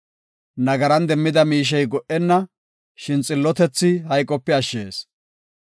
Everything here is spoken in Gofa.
Nagaran demmida miishey go77enna; shin xillotethi hayqope ashshees.